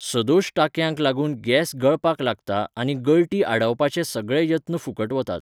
सदोश टांकयांक लागून गॅस गळपाक लागता आनी गळटी आडावपाचे सगळे यत्न फुकट वतात.